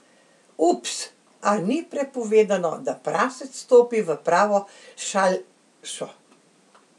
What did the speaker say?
Ups, a ni prepovedano, da prasec stopi v pravo šalšo?